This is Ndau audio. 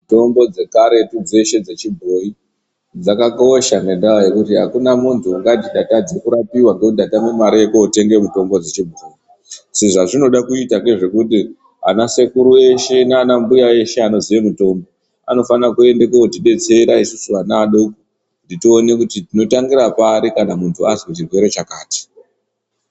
Mitombo dzekaretu dzeshe dzechibhoyi dzakakosha ngendaa yekuti hakuna muntu ungati ndatadze kurapiwa ngekuti ndatame mare yekotenga mitombo dzechibhoyi. Zvinhu zvazvinode kuita ngezvekuti anasekuru eshe nanambuya eshe anoziye mitombo, anofana kuende kotibetsera isusu ana adoko kuti tione kuti tinotangira pari kana muntu azwe chirwere chakati.